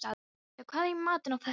Sissa, hvað er í matinn á föstudaginn?